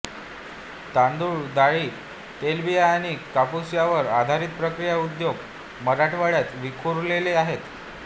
तांदुळ डाळी तेलबिया आणि कापूस यावर आधारित प्रक्रिया उद्योग मराठवाड्यात विखुरलेले आहेत